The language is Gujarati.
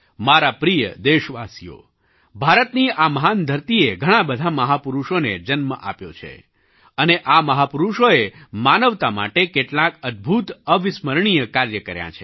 મારા પ્રિય દેશવાસીઓ ભારતની આ મહાન ધરતીએ ઘણાં બધાં મહાપુરુષોને જન્મ આપ્યો છે અને આ મહાપુરુષોએ માનવતા માટે કેટલાંક અદ્ભુતઅવિસ્મરણીય કાર્ય કર્યાં છે